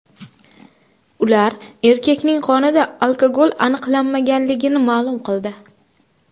Ular erkakning qonida alkogol aniqlanmaganini ma’lum qildi.